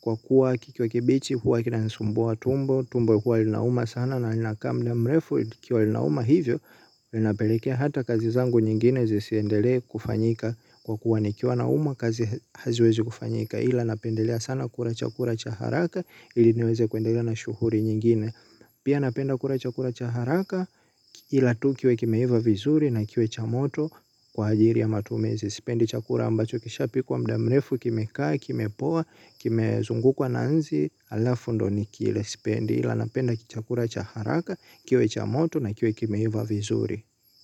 kwa kuwa kikiwa kibichi huwa kinanisumbua tumbo tumbo huwa linauma sana na linakaa muda mrefu likiwa linauma hivyo linapelekea hata kazi zangu nyingine zisiendele kufanyika kwa kuwa ni kiwa naumwa kazi haziwezi kufanyika ila napendelea sana kula chakula chaharaka ili niweze kuendelea na shughuli nyingine. Pia napenda kula chakula chaharaka ila tu kiwe kimeiva vizuri na kiwe chamoto kwa ajili ya matumizi. Sipendi chakula ambacho kisha pikwa mudamrefu kimekaa, kimepoa, kimezungu kwa nanzi, alafundoni kile. Sipendi ila napenda chakula chaharaka, kiwe chamoto na kiwe kimeiva vizuri.